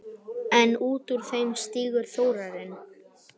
En út úr þeim stígur Þórarinn.